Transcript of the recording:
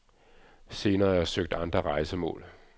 Senere har jeg søgt andre rejsemål.